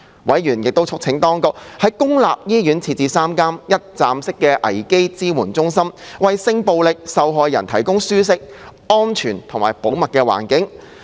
委員亦促請當局在公立醫院設立3間"一站式危機支援中心"，為性暴力受害人提供舒適、安全和保密的環境。